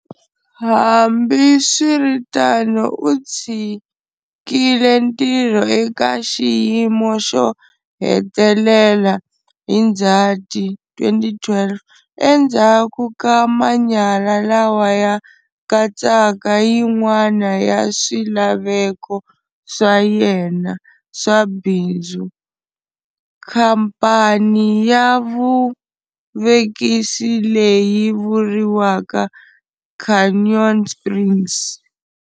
Hambiswitano U tshikile ntirho eka xiyimo xo hetelela hi Ndzhati 2012 endzhaku ka manyala lawa ya katsaka yin'wana ya swilaveko swa yena swa bindzu, khamphani ya vuvekisi leyi vuriwaka Canyon Springs.